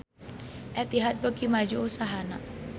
Etihad beuki maju usahana